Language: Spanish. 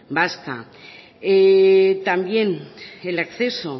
vasca también el acceso